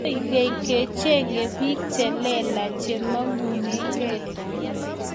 koig'eny kechengei biik che leelach che mang'unegei